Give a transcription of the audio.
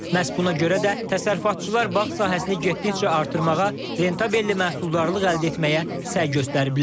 Məhz buna görə də təsərrüfatçılar bağ sahəsini getdikcə artırmağa, rentabelli məhsuldarlıq əldə etməyə səy göstəriblər.